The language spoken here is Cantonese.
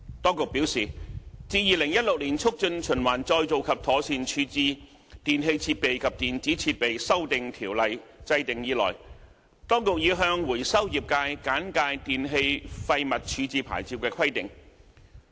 當局表示，自《2016年促進循環再造及妥善處置條例》制訂以來，當局已向回收業界簡介電器廢物處置牌照的規定。